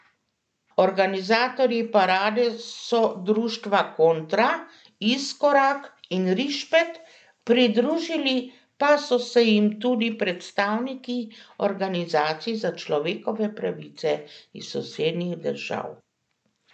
Organizatorji parade so društva Kontra, Iskorak in Rišpet, pridružili pa so se jim tudi predstavniki organizacij za človekove pravice iz sosednjih držav.